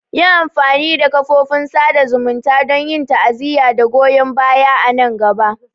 Yi amfani da kafofin sada zumunta don yin ta'aziyya da goyon baya a nan gaba.